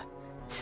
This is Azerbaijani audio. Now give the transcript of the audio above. Durdum ayağa.